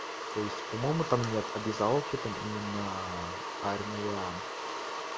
то есть по-моему там нет обязаловки там именно армия